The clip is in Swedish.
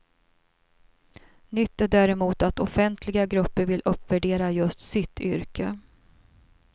Nytt är däremot att offentliga grupper vill uppvärdera just sitt yrke.